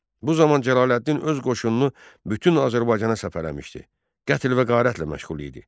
Bu zaman Cəlaləddin öz qoşununu bütün Azərbaycana səfərə almışdı, qətl və qarətlə məşğul idi.